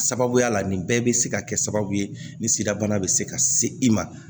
Sababuya la nin bɛɛ bɛ se ka kɛ sababu ye nin sidabana bɛ se ka se i ma